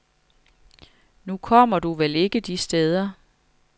Nu kommer du vel ikke de steder.